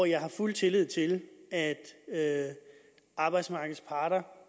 jeg har fuld tillid til at at arbejdsmarkedets parter